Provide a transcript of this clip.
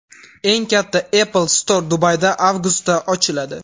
Eng katta Apple Store Dubayda avgustda ochiladi.